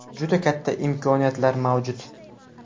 Juda katta imkoniyatlar mavjud.